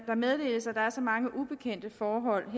der er så mange ubekendte forhold